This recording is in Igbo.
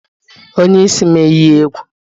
Onye isi m eyi egwu